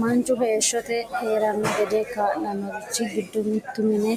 manchu heeshote heerano gede kaa'lannorichi giddo mittu mine